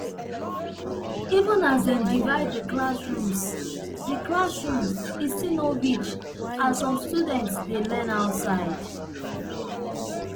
even as dem divide di classrooms di classrooms e still no reach as some students dey learn outside